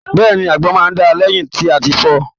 Bẹ́ẹ̀ni, àgbọn náà dáa lẹyìn tí a fọọ̀.